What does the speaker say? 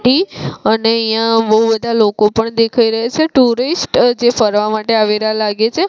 અને અહીંયા બહુ બધા લોકો પણ દેખાઈ રહેશે ટુરિસ્ટ જે ફરવા માટે આવેલા લાગે છે.